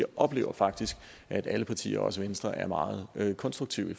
oplever faktisk at alle partier også venstre er meget konstruktive